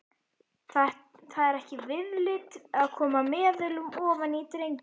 Það er ekki viðlit að koma meðulum ofan í drenginn.